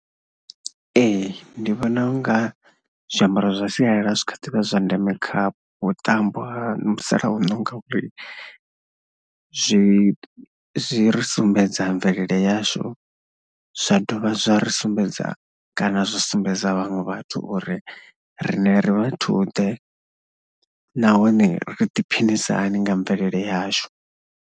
Ee, ndi vhona u nga zwiambaro zwa sialala zwi tshi kha ḓivha zwi zwa ndeme kha vhuṱambo ha musalauno ngauri zwi zwi ri sumbedza mvelele yashu zwa dovha zwa ri sumbedza kana zwi sumbedza vhaṅwe vhathu uri riṋe ri vhathuḓe nahone ri ḓiphinisa hani nga mvelele yashu.